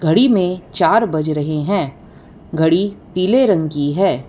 घड़ी में चार बज रहे हैं घड़ी पीले रंग की है।